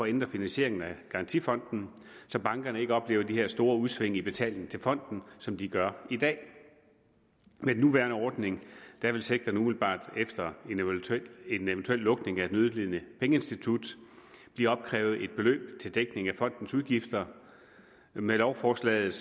ændre finansieringen af garantifonden så bankerne ikke oplever de her store udsving i betaling til fonden som de gør i dag med den nuværende ordning vil sektoren umiddelbart efter en eventuel lukning af et nødlidende pengeinstitut blive opkrævet et beløb til dækning af fondens udgifter med lovforslaget